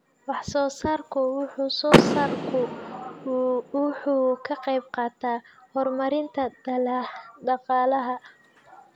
Wax-soo-saarku wax-soo-saarku wuxuu ka qaybqaataa horumarinta dhaqaalaha.